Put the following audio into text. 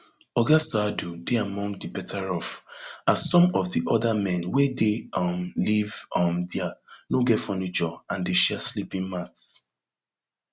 oga saadu dey among di betteroff as some of di oda men wey dey um live um dia no get furniture and dey share sleeping mats